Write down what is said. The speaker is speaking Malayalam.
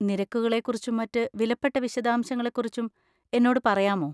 നിരക്കുകളെക്കുറിച്ചും മറ്റ് വിലപ്പെട്ട വിശദാംശങ്ങളെക്കുറിച്ചും എന്നോട് പറയാമോ?